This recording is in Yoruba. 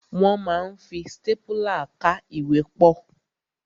Wọ́n ma ń fi stápùlà ká ìwé pọ̀.